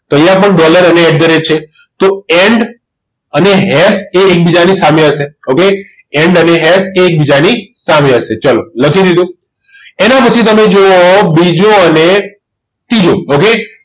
તો અહિયાં પણ dollar sign અને at the rate છે તો end અને એફ એ એકબીજાની સામે હશે ઓકે એન્ડ અને એકબીજાની સામે હશે ચલો લખી લીધું એના પછી તમે જોયા હોય બીજો અને ત્રીજો okay